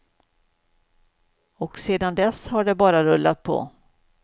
Och sedan dess har det bara rullat på.